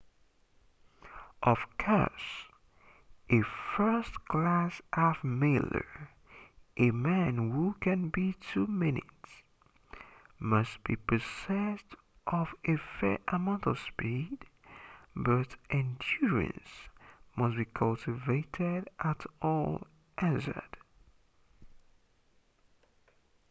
of course a first-class half-miler a man who can beat two minutes must be possessed of a fair amount of speed but endurance must be cultivated at all hazards